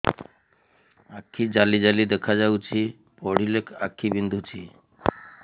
ଆଖି ଜାଲି ଜାଲି ଦେଖାଯାଉଛି ପଢିଲେ ଆଖି ବିନ୍ଧୁଛି